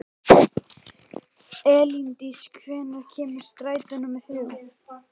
Elíndís, hvenær kemur strætó númer þrjú?